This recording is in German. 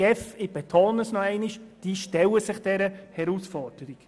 Die ERZ und die GEF stellen sich dieser Herausforderung.